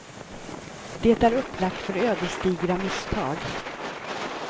Det är upplagt för ödesdigra misstag.